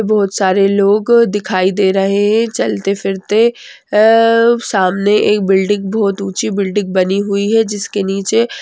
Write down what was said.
बहुत सारे लोग दिखाई दे रहे हैं चलते-फिरते आ सामने एक बिल्डिंग बहुत ऊंची बिल्डिंग बनी हुई है जिसके नीचे--